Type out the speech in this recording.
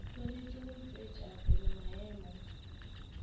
swanetše go tšwetša pele maemo